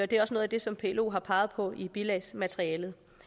det er også noget af det som plo har peget på i bilagsmaterialet